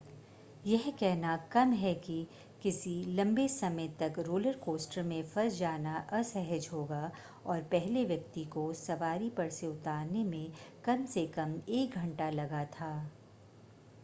यह कहना कम है कि किसी लंबे समय तक रोलर कॉस्टर में फंस जाना असहज होगा और पहले व्यक्ति को सवारी पर से उतारने में कम से कम एक घंटा लगा था